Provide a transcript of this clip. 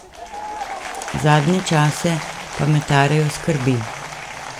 Zadnje čase pa me tarejo skrbi.